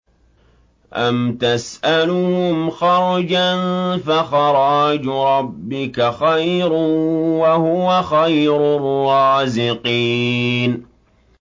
أَمْ تَسْأَلُهُمْ خَرْجًا فَخَرَاجُ رَبِّكَ خَيْرٌ ۖ وَهُوَ خَيْرُ الرَّازِقِينَ